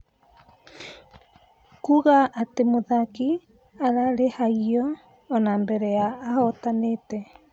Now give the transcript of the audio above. Kuuga atĩ mũthaki arĩrĩhagio ona mbere ya ahotanĩte.